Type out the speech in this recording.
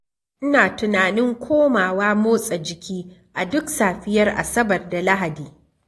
Ina tunanin komawa motsa jiki a duk safiyar Asabar da Lahadi.